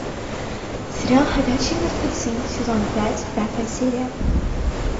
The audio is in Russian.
сериал ходячие мертвецы сезон пять пятая серия